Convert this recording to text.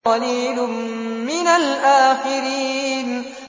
وَقَلِيلٌ مِّنَ الْآخِرِينَ